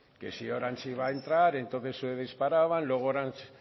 que si orange iba a entrar entonces se disparaban luego orange